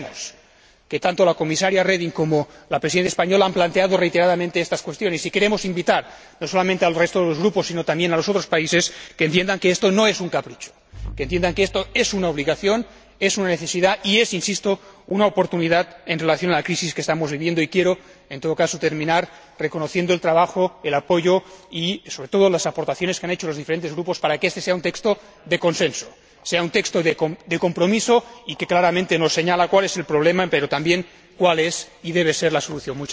Sabemos que tanto la Comisaria Reding como la Presidencia española han planteado reiteradamente estas cuestiones, y queremos invitar no solamente al resto de los Grupos, sino también a los otros países, a que entiendan que esto no es un capricho, que entiendan que esto es una obligación, es una necesidad y es, insisto, una oportunidad en relación con la crisis que estamos viviendo y quiero, en todo caso, terminar reconociendo el trabajo, el apoyo y sobre todo las aportaciones que han hecho los diferentes Grupos para que este sea un texto de consenso, sea un texto de compromiso, y que claramente nos señala cuál es el problema, pero también cuál es y debe ser la solución.